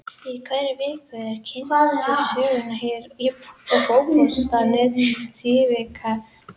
Í hverri viku eru kynntir til sögunnar hér á Fótbolti.net Tvífarar vikunnar.